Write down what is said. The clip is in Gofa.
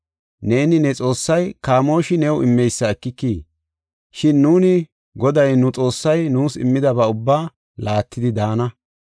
Neeni ne xoossay kamooshi new immeysa ekikii? Shin nuuni, Goday nu Xoossay nuus immidaba ubbaa laattidi daana.